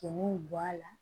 Cɛn bi bɔ a la